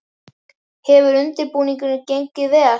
Hefur undirbúningurinn gengið vel?